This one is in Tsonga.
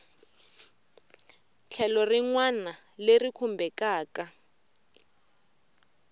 tlhelo rin wana leri khumbekaku